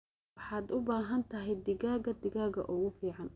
Waxaad u baahan tahay digaagga digaagga ugu fiican.